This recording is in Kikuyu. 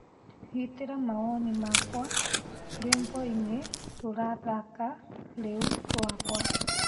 gitira mawoni makwa rwĩmbo ini rurathaka riu rwakwa